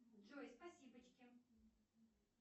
джой спасибочки